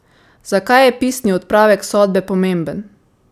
Zakaj je pisni odpravek sodbe pomemben?